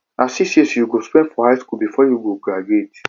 na six years you go spend for high skool before you go graduate